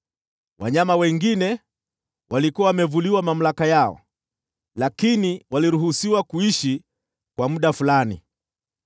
(Wanyama wengine walikuwa wamevuliwa mamlaka yao, lakini waliruhusiwa kuishi kwa muda fulani.)